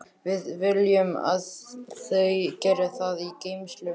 Við viljum að þau geri það í geymslunum.